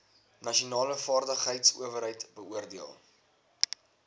nasionale vaardigheidsowerheid beoordeel